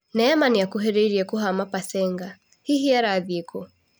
(Mbica) 'Neema nĩ akuhĩrĩirie kũhama Pasenga '- Hihi arathiĩ kũu ?